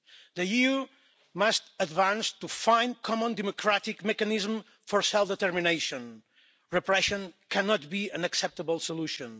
The EU must advance to find a common democratic mechanism for self-determination. Repression cannot be an acceptable solution.